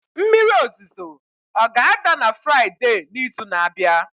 mmiri ozuzo ọ ga-ada na Fraịde n'izu na-abịa?